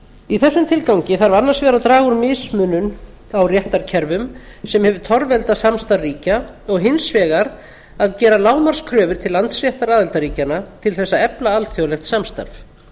í þessum tilgangi þarf annars vegar að draga úr mismunun á réttarkerfum sem hefur torveldað samstarf ríkja og hins vegar að gera lágmarkskröfur til landsréttar aðildarríkjanna til þess að efla alþjóðlegt samstarf